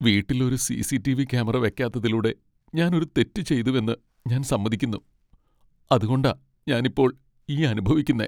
വീട്ടിൽ ഒരു C. C. T. V. Camera വെക്കാത്തതിലൂടെ ഞാൻ ഒരു തെറ്റ് ചെയ്തുവെന്ന് ഞാൻ സമ്മതിക്കുന്നു, അതുകൊണ്ടാ ഞാൻ ഇപ്പോൾ ഈ അനുഭവിക്കുന്നെ .